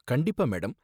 கண்டிப்பா மேடம்.